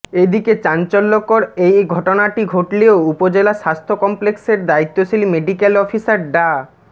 এদিকে চাঞ্চল্যকর এ ঘটনাটি ঘটলেও উপজেলা স্বাস্থ্য কমপ্লেক্সের দায়িত্বশীল মেডিক্যাল অফিসার ডা